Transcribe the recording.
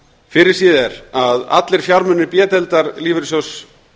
fyrirséð er að allir fjármunir b deildar lífeyrissjóðs